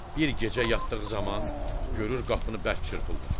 Bir gecə yatdığı zaman görür qapını bərk çırpırlar.